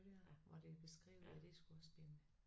Hvor det er beskrevet hvad det skulle ske